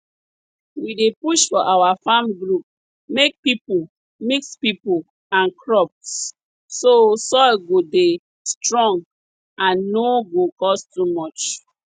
we dey push for our farm group make pipo mix pipo and crops so soil go dey strong and no go cost too much